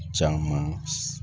Caman